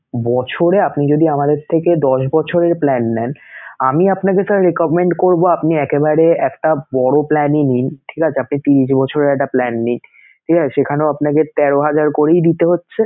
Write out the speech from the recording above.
বছরে আপনি যদি আমাদের থেকে দশ বছরের plan নেন, আমি আপনাকে sir recommend করবো আপনি একেবারে একটা বড় plan ই নিন ঠিক আছে? আপনি ত্রিশ বছরের একটা plan নিনঠিক আছে? সেখানেও আপনাকে তেরো হাজার করেই দিতে হচ্ছে